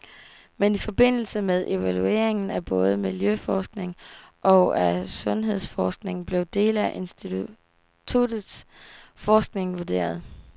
Men i forbindelse med evalueringen af både miljøforskningen og af sundhedsforskningen blev dele af instituttets forskning vurderet.